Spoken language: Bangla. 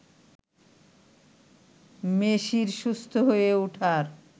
মেসির সুস্থ হয়ে ওঠার